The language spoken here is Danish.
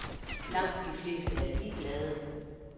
Langt de fleste er ligeglade.